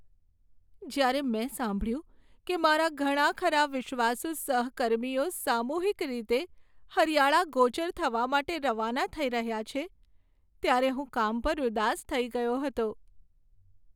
જ્યારે મેં સાંભળ્યું કે મારા ઘણા ખરાં વિશ્વાસુ સહકર્મીઓ સામૂહિક રીતે હરિયાળા ગોચર માટે રવાના થઈ રહ્યા છે, ત્યારે હું કામ પર ઉદાસ થઈ ગયો હતો.